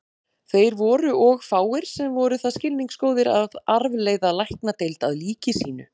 Þeir voru og fáir, sem voru það skilningsgóðir að arfleiða Læknadeild að líki sínu.